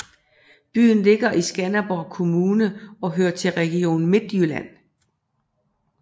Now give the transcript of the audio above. Byen ligger i Skanderborg Kommune og hører til Region Midtjylland